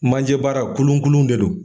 Manjɛ baara kunlunkunlun de don.